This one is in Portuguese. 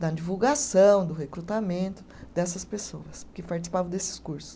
da divulgação, do recrutamento dessas pessoas que participavam desses cursos.